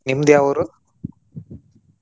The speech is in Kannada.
ನಿಮ್ದ್ ಯಾವೂರು?